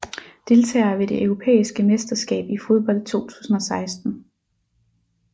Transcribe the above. Deltagere ved det europæiske mesterskab i fodbold 2016